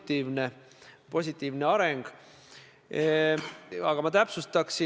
Niisugune fotosein on seal Stenbocki majas üsna taganurgas.